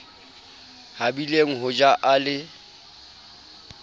habileng ho ja a le